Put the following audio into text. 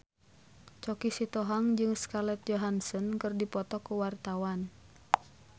Choky Sitohang jeung Scarlett Johansson keur dipoto ku wartawan